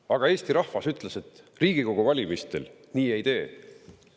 Aga Eesti rahvas ütles, et Riigikogu valimistel nii ei tehta.